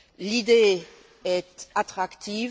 L'idée est attractive.